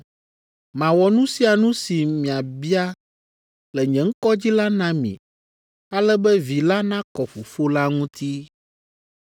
Mawɔ nu sia nu si miabia le nye ŋkɔ dzi la na mi ale be Vi la nakɔ Fofo la ŋuti.